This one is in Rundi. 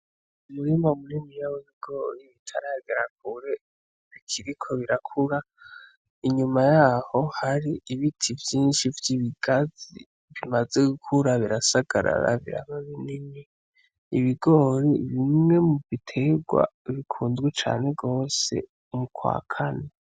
Umurima muniniya w'ibigori utaragera kure bikiriko birakura, inyuma yaho hari ibiti vyinshi vy'ibigazi bimaze gukura birasagarara biraba binjni, ibigori ni bimwe mu biterwa bikunzwe cane gose mu kwa kane.